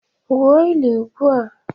Gwuo ili ugbua!